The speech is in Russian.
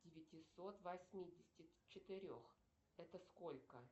девятисот восьмидесяти четырех это сколько